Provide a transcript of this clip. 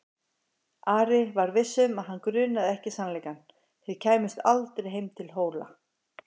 Ari var viss um að hann grunaði ekki sannleikann: þeir kæmust aldrei heim til Hóla.